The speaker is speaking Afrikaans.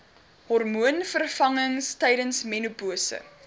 hormoonvervangings tydens menopouse